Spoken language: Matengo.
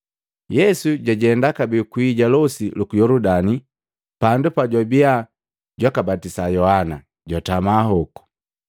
Yesu jwajenda kabee kwii ja losi luku Yoludani, pandu pajwabia jwakabatisa Yohana, jwatama koku.